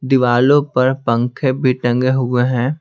दीवालों पर पंखे भी टंगे हुए हैं।